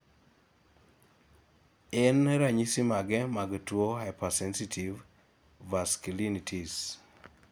en ranyisi mage mag tuo hypersensitivevasculitis?